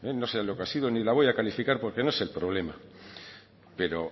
no sé lo que ha sido ni la voy a calificar porque no es el problema pero